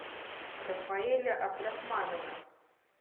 рафаэля абдрахманова